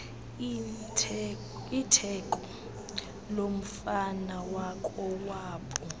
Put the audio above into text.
itheko lomfana wakowabo